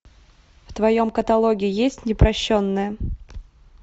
в твоем каталоге есть непрощенная